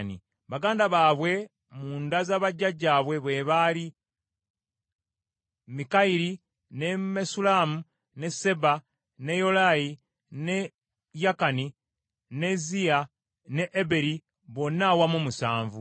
Baganda baabwe mu nda z’abajjajjaabwe bwe baali Mikayiri, ne Mesullamu, ne Seeba, ne Yolayi, ne Yakani, ne Ziya, ne Eberi, bonna awamu musanvu.